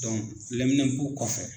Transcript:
lɛminɛnpo kɔfɛ.